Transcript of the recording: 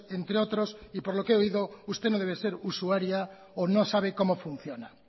sanitarios entre otros y por lo que he oído usted no debe ser usuaria o no sabe cómo